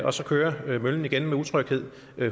og så kører møllen igen med utryghed